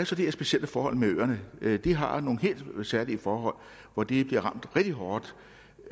så det her specielle forhold med øerne at de har nogle helt særlige forhold hvor de bliver ramt rigtig hårdt